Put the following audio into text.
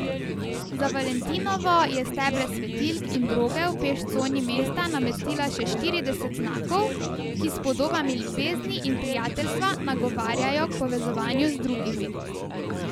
Za valentinovo je stebre svetilk in droge v peš coni mesta namestila še trideset znakov, ki s podobami ljubezni in prijateljstva nagovarjajo k povezovanju z drugimi.